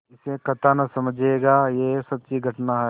इसे कथा न समझिएगा यह सच्ची घटना है